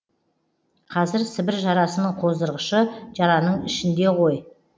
қазір сібір жарасының қоздырғышы жараның ішінде ғой